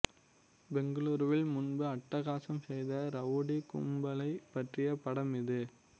பெங்களூருவில் முன்பு அட்டகாசம் செய்த ரவுடி கும்பலைப் பற்றிய படம் இது